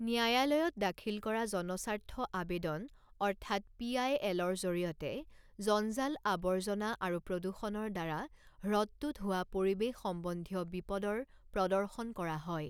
ন্যায়ালয়ত দাখিল কৰা জনস্বাৰ্থ আবেদন অৰ্থাৎ পি আই এলৰ জৰিয়তে জঞ্জাল আবৰ্জনা আৰু প্ৰদূষনৰ দ্বাৰা হ্ৰদটোত হোৱা পৰিৱেশ সম্বন্ধীয় বিপদৰ প্ৰদৰ্শন কৰা হয়।